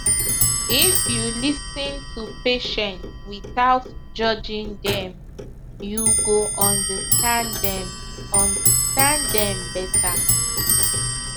if you lis ten to patient without judging dem you go understand dem understand dem better